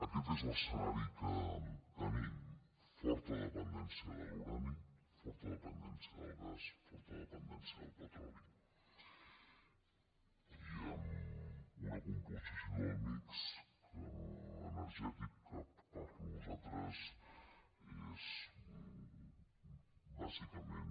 aquest és l’escenari que tenim forta dependència de l’urani forta dependència del gas forta dependència del petroli i amb una composició del mix energètic que per nosaltres és bàsicament